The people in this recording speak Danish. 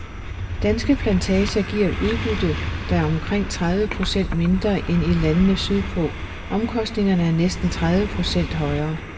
Danske plantager giver et udbytte, der er omkring tredive procent mindre end i landene sydpå, omkostningerne er næsten tredive procent højere.